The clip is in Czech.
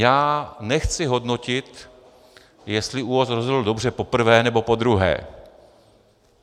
Já nechci hodnotit, jestli ÚOHS rozhodl dobře poprvé, nebo podruhé.